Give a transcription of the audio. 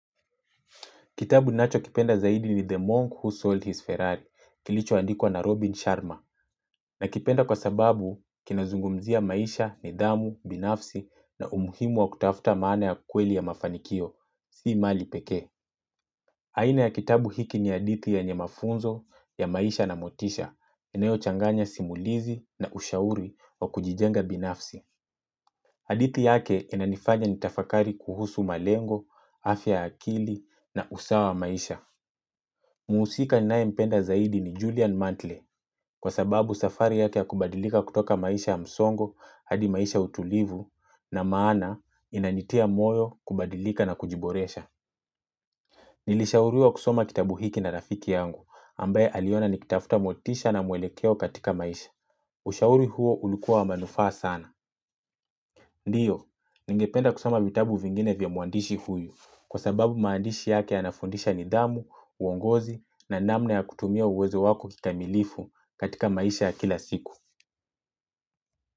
Kitabu ninacho kipenda zaidi ni The Monk Who Sold His Ferrari kilicho andikwa na Robin Sharma nakipenda kwa sababu kinazungumzia maisha, nidhamu, binafsi na umuhimu wa kutafuta maana ya kweli ya mafanikio, si mali pekee. Aina ya kitabu hiki ni hadithi yenye mafunzo ya maisha na motisha inayo changanya simulizi na ushauri wa kujijenga binafsi. Hadithi yake inanifanya nitafakari kuhusu malengo, afya ya akili na usawa wa maisha. Muhusika ninaye mpenda zaidi ni Julian Mantle, sababu safari yake ya kubadilika kutoka maisha ya msongo hadi maisha ya utulivu na maana inanitia moyo kubadilika na kujiboresha. Nilishauriwa kusoma kitabu hiki na rafiki yangu ambaye aliona nikitafuta motisha na mwelekeo katika maisha. Ushauri huo ulikua wa manufaa sana. Ndiyo, ningependa kusoma vitabu vingine vya mwandishi huyu kwa sababu maandishi yake yanafundisha nidhamu, uongozi na namna ya kutumia uwezo wako kikamilifu katika maisha ya kila siku.